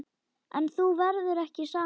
En þú verður ekki samur.